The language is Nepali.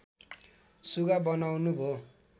सुगा बनाउनु भो